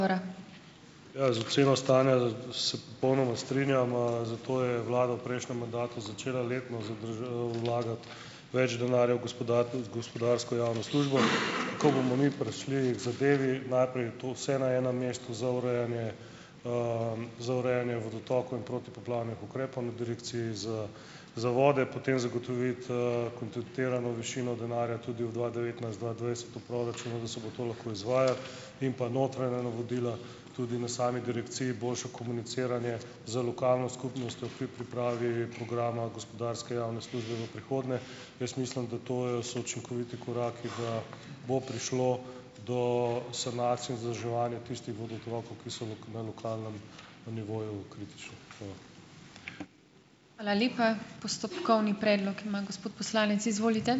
Ja, z oceno stanja se popolnoma strinjam, zato je vlada v prejšnjem mandatu začela letno vlagati več denarja v gospodarsko javno službo. Ko bomo mi prišli k zadevi, najprej to vse na enem mestu za urejanje, za urejanje vodotokov in protipoplavnih ukrepov na Direkciji za za vode, potem zagotoviti, kontinuirano višino denarja tudi v dva devetnajst-dva dvajset v proračunu, da se bo to lahko izvajalo, in pa notranja navodila, tudi na sami direkciji boljše komuniciranje z lokalno skupnostjo pri pripravi programa gospodarske javne službe v prihodnje. Jaz mislim, da to je so učinkoviti koraki, da bo prišlo do sanacij in vzdrževanja tistih vodotokov, ki so na lokalnem nivoju kritični. Hvala.